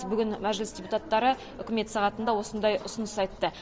бүгін мәжіліс депутаттары үкімет сағатында осындай ұсыныс айтты